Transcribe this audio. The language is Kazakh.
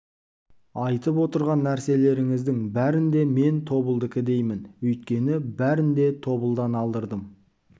айтып отырған нәрселеріңіздің бәрін де мен тобылдыкі деймін өйткені бәрін де тобылдан алдырдым